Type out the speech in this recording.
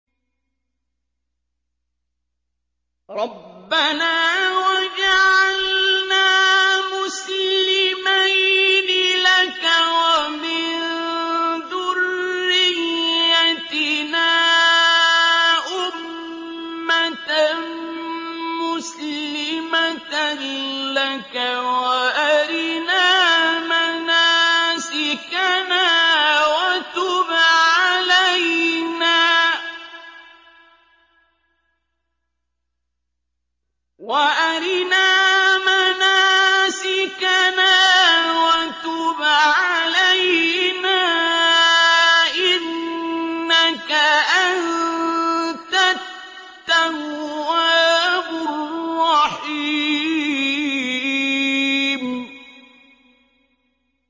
رَبَّنَا وَاجْعَلْنَا مُسْلِمَيْنِ لَكَ وَمِن ذُرِّيَّتِنَا أُمَّةً مُّسْلِمَةً لَّكَ وَأَرِنَا مَنَاسِكَنَا وَتُبْ عَلَيْنَا ۖ إِنَّكَ أَنتَ التَّوَّابُ الرَّحِيمُ